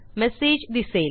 message दिसेल